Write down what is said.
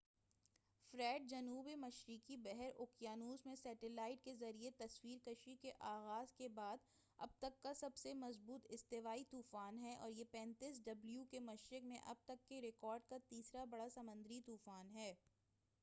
Fred, جنوب مشرقی بحر اوقیانوس میں سیٹلائٹ کے ذریعہ تصویر کشی کے آغاز کے بعد اب تک کا سب سے مضبوط استوائی طوفان ہے، اور یہ 35 ° ڈبلیو کے مشرق میں اب تک کے ریکارڈ کا تیسرا بڑا سمندری طوفان ہے۔